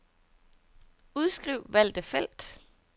Udskriv valgte felt.